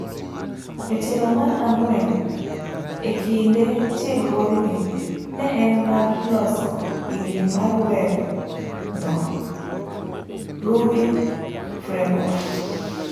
Etielo mar ang'wen ekinde tiegruogni, ne en mar loso ingini mar web no[ruby framework]